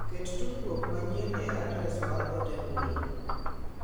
Ket tudruok manyien e adres mar ote mbui.